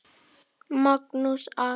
Magnús Ari.